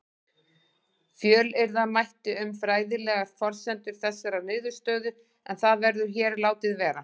Fjölyrða mætti um fræðilegar forsendur þessarar niðurstöðu en það verður hér látið vera.